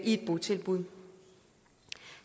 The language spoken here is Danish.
i et botilbud